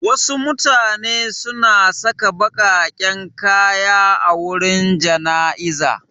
Wasu mutane suna saka baƙaƙen kaya a wurin jana'iza.